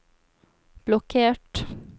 blokkert